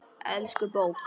Elsku bók!